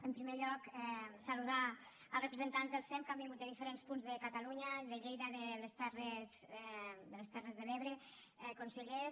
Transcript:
en primer lloc saludar els representants del sem que han vingut de diferents punts de catalunya de lleida de les terres de l’ebre consellers